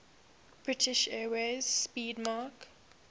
british airways 'speedmarque